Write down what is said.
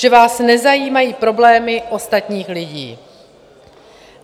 Že vás nezajímají problémy ostatních lidí.